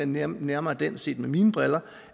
nærmere nærmere den set med mine briller